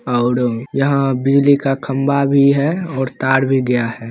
और यहाँ बिजली का खम्भा भी है और तार भी गया है।